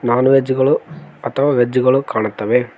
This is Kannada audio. ನಾನ್ ವೆಜ್ ಗಳು ಅಥವಾ ವೆಜ್ ಗಳು ಕಾಣ್ತವೆ.